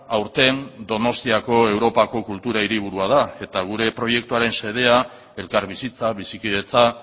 aurten donostiako europako kultura hiriburua da eta gure proiektuaren xedea elkarbizitza bizikidetza